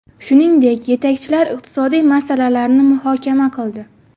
Shuningdek, yetakchilar iqtisodiy masalalarni muhokama qildi.